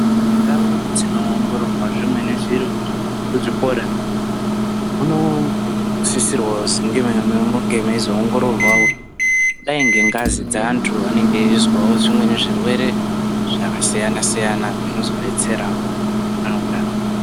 Ndau dzinoongororwa zvimweni zviro kuzvikora kunosisirwawo kuzi kunge kweizoongororwawo dai ngengazi dzeantu anenge eizwawo zvimweni zvirwere zvakasiyana siyana zvinozodetserawo anoda.